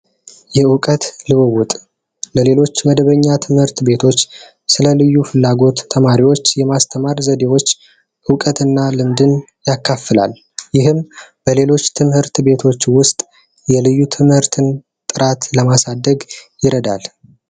እውቀት ልውውጥ ለሌሎች መደበኛ ትምህርት ቤቶች ስለ ልዩ ፍላጎት ተማሪዎች የማስተማር ዘዴዎች እውቀትና ልምድን ያካፍላል ይህም በሌሎች ትምህርት ቤቶች ውስጥ የልዩ ትምህርትን ጥራት ለማሳደግ ይረዳል።